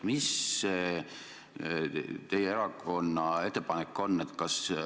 Mis teie erakonna ettepanek on?